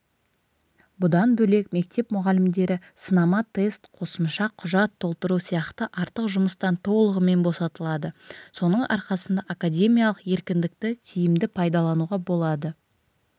бұдан бөлек мектеп мұғалімдері сынама тест қосымша құжат толтыру сияқты артық жұмыстан толығымен босатылады соның арқасында академиялық еркіндікті тиімді пайдалануға болады